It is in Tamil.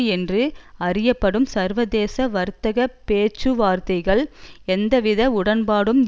என்று அறியப்படும் சர்வதேச வர்த்தக பேச்சுவார்த்தைகள் எவ்வித உடன்பாடும்